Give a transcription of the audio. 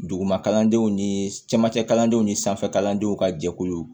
Duguma kalandenw ni camancɛ kalandenw ni sanfɛkalandenw ka jɛkulu